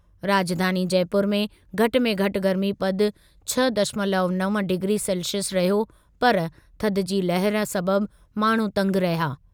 राजधानी जयपुर में घटि में घटि गर्मीपदु छह दशमलव नव डिग्री सेल्सिअस रहियो पर थधि जी लहर सबबि माण्हू तंगि रहिया।